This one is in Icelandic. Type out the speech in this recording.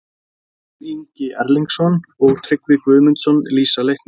Adolf Ingi Erlingsson og Tryggvi Guðmundsson lýsa leiknum.